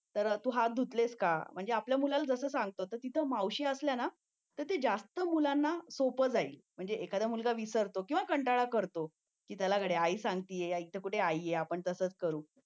तर तू हात धुतलेस का म्हणजे आपल्या मुलाला जसं सांगतो तर तिथे मावशी असल्याने तर जास्त मुलांना सोपं जाईल म्हणजे एखादा मुलगा विसरतो किंवा कंटाळा करतो चला गड्या आई सांगती तर इथे कुठे आई आहे आपण तसंच करू